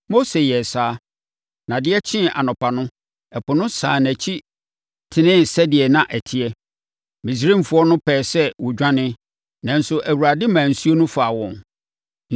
Mose yɛɛ saa, na adeɛ kyee anɔpa no, ɛpo no sane nʼakyi tenee sɛdeɛ na ɛteɛ. Misraimfoɔ no pɛɛ sɛ wɔdwane, nanso Awurade maa nsuo no faa wɔn.